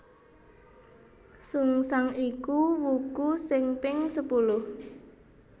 Sungsang iku wuku sing ping sepuluh